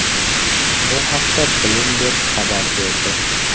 Bu haqda Bloomberg xabar berdi .